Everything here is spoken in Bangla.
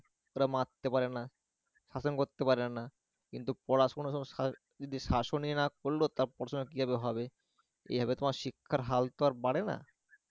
তার মারতে পারে না, শাসন করতে পারে না কিন্তু পড়াশুনো তো sir যদি শাসনই না করলো তা পড়াশুনা কিভাবে হবে? এইভাবে তোমার শিক্ষার হালতো আর পারে না